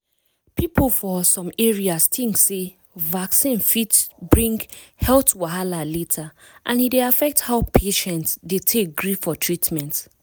people for some areas think sey vaccine fit bring health wahala later and e dey affect how patients dey take gree for treatment.